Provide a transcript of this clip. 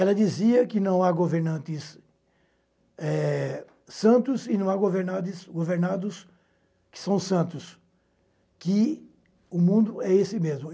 Ela dizia que não há governantes, eh... santos e não há governades, governados que são santos, que o mundo é esse mesmo.